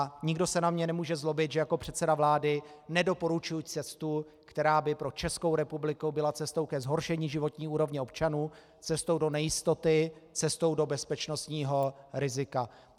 A nikdo se na mě nemůže zlobit, že jako předseda vlády nedoporučuji cestu, která by pro Českou republiku byla cestou ke zhoršení životní úrovně občanů, cestou do nejistoty, cestou do bezpečnostního rizika.